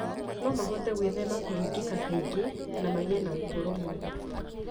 no mahote gwĩthema kũringĩka kaingĩ na magĩe na ũtũũro mwega.